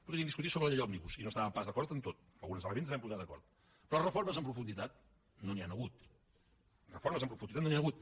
podríem discutir sobre la llei òmnibus i no estàvem pas d’acord en tot en alguns elements ens vam posar d’acord però reformes en profunditat no n’hi han hagut reformes en profunditat no n’hi han hagut